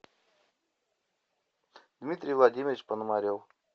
дмитрий владимирович пономарев